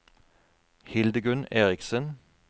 Hildegunn Eriksen